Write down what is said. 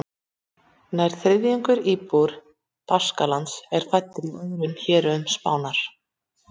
Nærri þriðjungur íbúa Baskalands er fæddur í öðrum héruðum Spánar.